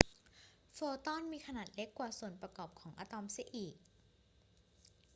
โฟตอนมีขนาดเล็กกว่าส่วนประกอบของอะตอมเสียอีก